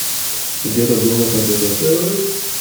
где то был на компьютере